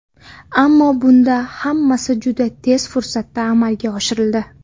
Ammo bunda hammasi juda tez fursatda amalga oshirildi.